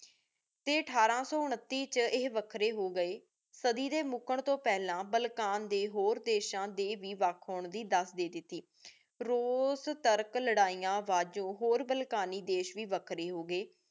T ਅਥਾਰ ਸੋ ਉਨੱਤੀ ਵਿਚ ਏਹੀ ਵੱਖਰੇ ਹੋ ਗਏ ਸਾਡੀ ਦੇ ਮੁਕੰ ਤੂ ਪਹਲਾ ਬਾਲ੍ਕਨ ਦੇ ਹੋਰ ਦੇਸ਼ਾਂ ਦੇ ਵਖ ਹੋਣ ਦੇ ਦਸ ਦੇ ਦਿਤੀ ਰੂਸ ਤੁਰਕ ਲੜਾਈਆਂ ਦਾ ਜੋ ਹੋਰ ਬਾਲਕਨੀ ਦੇਸ਼ ਵੇ ਵਖਰੀ ਹੋ ਗਏ